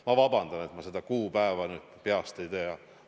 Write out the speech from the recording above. Ma vabandan, et ma seda kuupäeva peast ei tea.